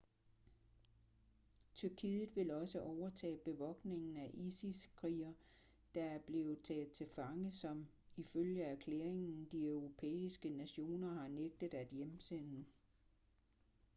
tyrkiet vil også overtage bevogtningen af isis-krigere der er blevet taget til fange som ifølge erklæringen de europæiske nationer har nægtet at hjemsende